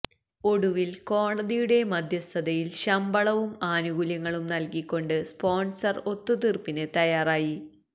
ഒടുവിൽ കോടതിയുടെ മധ്യസ്ഥതയിൽ ശമ്പളവും ആനുകൂല്യങ്ങളും നൽകി കൊണ്ട് സ്പോൺസർ ഒത്തുതീർപ്പിന് തയ്യാറായി